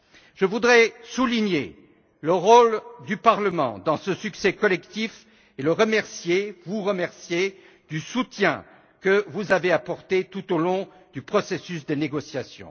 Je voudrais souligner le rôle du Parlement dans ce succès collectif et vous remercier pour le soutien que vous avez apporté tout au long du processus de négociation.